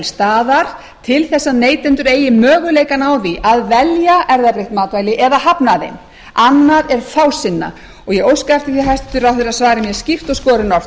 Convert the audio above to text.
staðar til þess að neytendur eigi möguleikana á því að velja erfðabreytt matvæli eða hafna þeim annað er fásinna og ég óska eftir því að hæstvirtur ráðherra svari mér skýrt og skorinort hvað þetta varðar